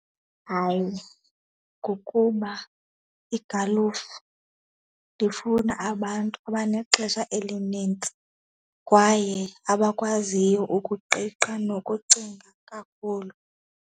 Hayi, ngokuba igalufa ndifuna abantu abanexesha elinintsi kwaye abakwaziyo ukuqiqa nokucinga kakhulu.